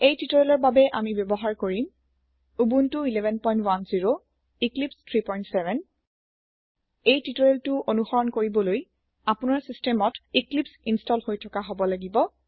এই টিউটৰিয়েলৰ বাবে আমি ব্যৱহাৰ কৰিম উবুনটো 1110 এক্লিপছে 37 এই টিউটৰিয়েলটো অণুসৰণ কৰিবলৈ আপোনাৰ চিচটেমত ইক্লিপ্চ ইন্চটল হৈ থকা হব লাগিব